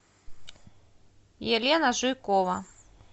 елена жуйкова